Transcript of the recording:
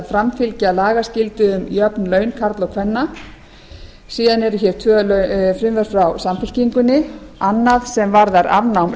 framfylgja lagaskyldu um jöfn laun karla og kvenna síðan eru tvö frumvörp frá samfylkingunni annað sem varðar afnám